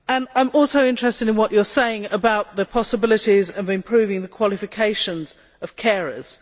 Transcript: I am also interested in what you are saying about the possibilities of improving the qualifications of carers.